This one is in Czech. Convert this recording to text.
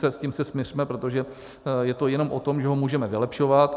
S tím se smiřme, protože je to jenom o tom, že ho můžeme vylepšovat.